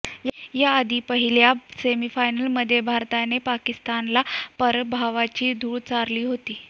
याआधी पहिल्या सेमी फायनलमध्ये भारताने पाकिस्तानला पराभवाची धूळ चारली होती